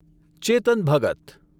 ચેતન ભગત